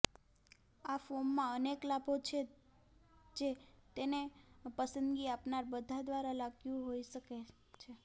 આ ફોર્મમાં અનેક લાભો છે જે તેને પસંદગી આપનાર બધા દ્વારા લાગ્યું હોઈ શકે છે